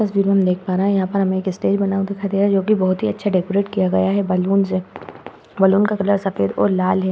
में हम देख पा रहे हैं। यहाँ पर हमें एक स्टेज बना हुआ दिखाई दे रहा है जो कि बहोत ही अच्छा डेकोरेट किया गया है बलुन से। बलून का कलर सफ़ेद और लाल है।